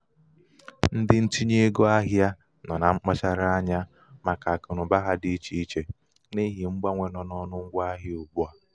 ndị ntinye ego ahịa nọ na mkpachara anya màkà akụnaụba ha dị ichè ichè n'ihi mgbanwe nọ n'ọnụ ngwa ahịa ugbu a.